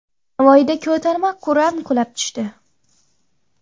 Navoiyda ko‘tarma kran qulab tushdi.